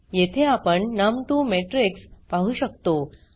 येथे आपण नम2 मॅट्रिक्स पाहु शकतो